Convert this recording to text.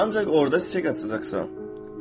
Ancaq orada çiçək açacaqsan.